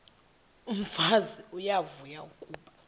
umfazi uyavuya kuba